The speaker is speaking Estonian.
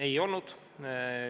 Ei olnud.